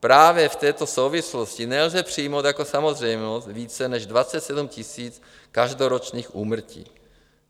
Právě v této souvislosti nelze přijmout jako samozřejmost více než 27 000 každoročních úmrtí.